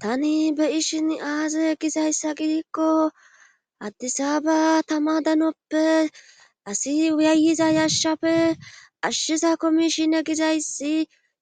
tani be ishin aaze gizayssa giikko addisa ba tama danoppe asi uyaayiza yashafe ashshiza komishine gizayssi